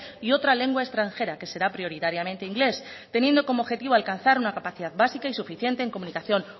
y otra lengua extranjera que será prioritariamente inglés teniendo como objetivo alcanzar una capacidad básica y suficiente en comunicación